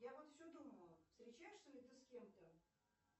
я вот все думаю встречаешься ли ты с кем то